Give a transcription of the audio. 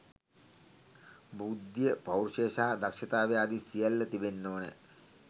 බුද්ධිය පෞරුෂය සහ දක්‍ෂතාවය ආදී සියල්ල තිබෙන්න ඕනෑ.